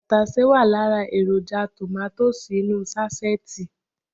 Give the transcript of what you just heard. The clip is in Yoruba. Tàtàsé wà lára èròjà tòmátósì inú ú sáṣẹ́ẹ̀tì